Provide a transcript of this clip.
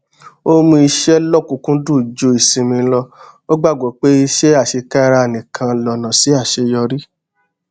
ó mú iṣẹ lọkùnúnkúndùn ju ìsinmi lọ ó gbàgbó pé iṣé àṣekára nìkan lọnà sí àṣeyọrí